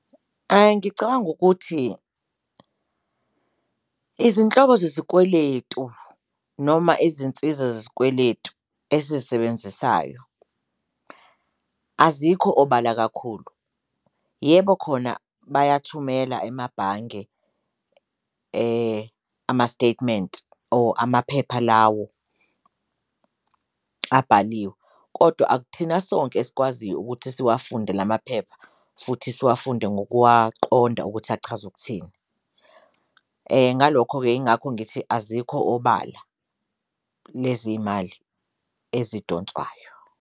Ngicabanga ukuthi izinhlobo zezikweletu noma izinsiza zezikweletu esizisebenzisayo azikho obala kakhulu yebo khona bayathumela emabhange ama-statement or amaphepha lawo abhaliwe kodwa akuthina sonke esikwaziyo ukuthi siwafunde la maphepha futhi siwafunde ngokuwaqonda ukuthi achaza ukuthini. Ngalokho-ke ingakho ngithi azikho obala lezi imali ezidonswayo.